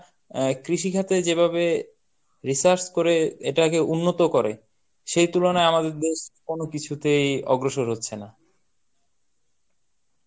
অ্যাঁ কৃষি খাতে যেভাবে research করে এটাকে উন্নত করে, সেই তুলনায় আমাদের দেশ কোন কিছুতেই অগ্রসর হচ্ছে না